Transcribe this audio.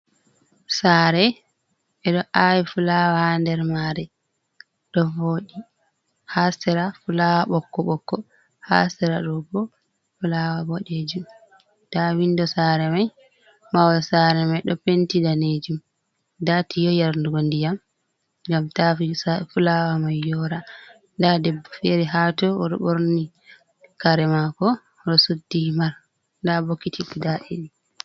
Saare. Ɓe ɗo aawi fulawa ha nder maare, ɗo vooɗi. Haa sera, fulawa ɓokko-ɓokko, haa sera ɗo bo fulawa boɗejum. Nda windo saare mai mahol saare mai ɗo penti daneejum. Nda tiyo yarnugo ndiyam, gam ta fulawa mai yora. Nda debbo fere haa to, o ɗo ɓorni kare maako, o ɗo suddi himaar. Nda bokiti guda ɗiɗi.